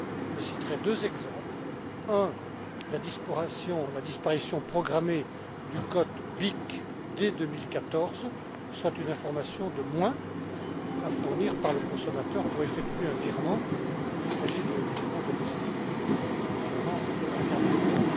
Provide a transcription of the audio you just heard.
Je citerai deux exemples en premier lieu, la disparition programmée du code BIC dès 2014, soit une information de moins à fournir par le consommateur pour effectuer un virement, qu'il s'agisse d'un virement domestique ou international.